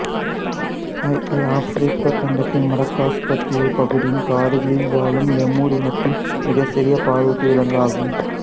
aye-aye Africa கண்டத்தின் Madagascar தீவுப் பகுதியின் காடுகளில் வாழும் லெமூர் இனத்தின் மிகச்சிறிய பாலூட்டி விலங்கு ஆகும்